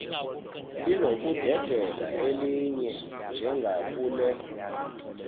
linokudedela elinye njengakule